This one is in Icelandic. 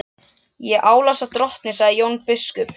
Og ég álasa drottni, sagði Jón biskup.